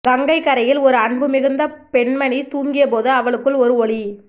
கங்கைக் கரையில் ஒரு அன்பு மிகுந்த பெண்மணி தூங்கிய போது அவளுக்குள் ஒரு ஒளி